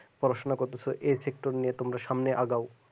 পড়াশোনা করতেছে এই শিক্ষা নিয়ে তোমরা সামনে আগাও